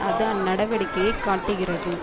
அது அந்நடவடிக்கையை காட்டுகிறது